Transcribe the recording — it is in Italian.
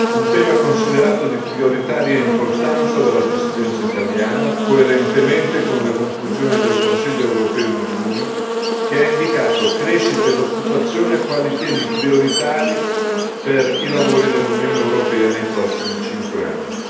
Un tema considerato di prioritaria importanza dalla Presidenza italiana, coerentemente con le conclusioni del Consiglio europeo di giugno, che ha indicato crescita ed occupazione quali temi prioritari per i lavori dell'Unione europea nei prossimi cinque anni.